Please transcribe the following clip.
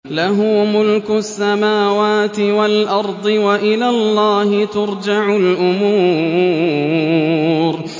لَّهُ مُلْكُ السَّمَاوَاتِ وَالْأَرْضِ ۚ وَإِلَى اللَّهِ تُرْجَعُ الْأُمُورُ